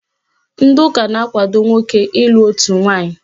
Ndị ụka na-akwado nwoke ịlụ otu nwaanyị.